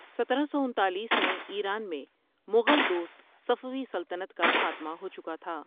سترہ سو انتالیس میں ایران میں مغل دوست صفوی سلطنت کا خاتمہ ہو چکا تھا۔